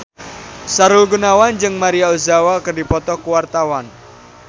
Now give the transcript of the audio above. Sahrul Gunawan jeung Maria Ozawa keur dipoto ku wartawan